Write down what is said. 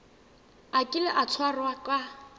a kile a tshwarwa ka